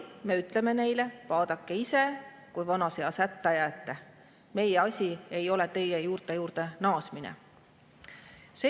Me ütleme neile, et vaadake ise, kui vanas eas hätta jääte, teie juurte juurde naasmine ei ole meie asi.